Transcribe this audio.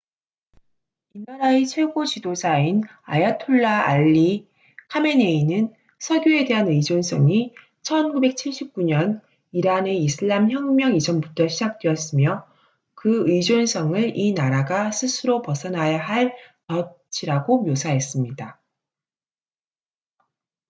"이 나라의 최고 지도자인 아야톨라 알리 카메네이는 석유에 대한 의존성이 1979년 이란의 이슬람 혁명 이전부터 시작되었으며 그 의존성을 이 나라가 스스로 벗어나야 할 "덫""이라고 묘사했습니다.